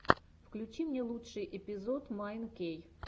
включи мне лучший эпизод майн кей